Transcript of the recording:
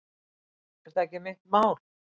Er það ekki mitt mál?